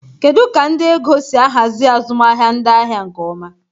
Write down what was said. Kedu ka ndị ego si ahazi azụmahịa ndị ahịa nke ọma?